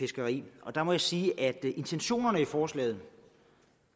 fiskeri og der må jeg sige at intentionerne i forslaget